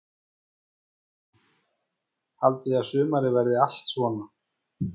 Kristján: Haldið þið að sumarið verið allt svona?